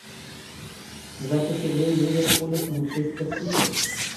запись игры ливерпуля с манчестер сити